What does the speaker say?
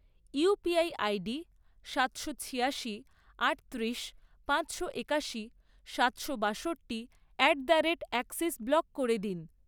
UPI ID সাতশো ছিয়াশি, আটত্রিশ, পাঁচশো একাশি, সাতশো বাষট্টি at the rate Axis block করে দিন।